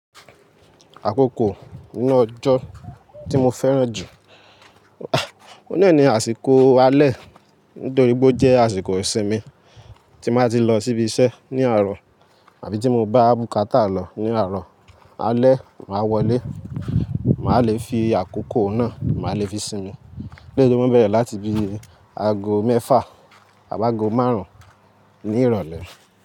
Àkókò inú ọjọ́ tí mo fẹ́ràn jù, ah, óun naa àsìkò alẹ́ nítorí pe o jẹ́ àsìkò ìsinmi tí m áa ti lọ síbi iṣẹ́ ní àárọ̀ àbí tí mo bá bùkátà lọ ní àárọ̀ alẹ́, màá wọlé, màá le fi àkókò náà, màá le fi sinmi. Béè lo maa nbẹ̀rẹ̀ láti bí aago mẹ́fà àbi aago márùn-ún ní ìrọ̀lẹ́